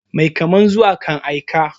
Mai kaman zuwa kan aika.